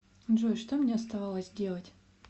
джой что мне оставалось делать